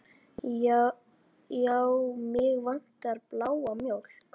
Já, mig vantar bláa mjólk.